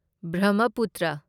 Brahmaputra